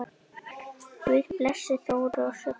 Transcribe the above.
Guð blessi Þóru og Sigga.